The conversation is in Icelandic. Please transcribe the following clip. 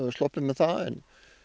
sloppið með það en